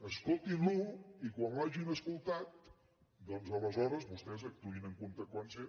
escoltin lo i quan l’hagin escoltat doncs aleshores vostès actuïn en conseqüència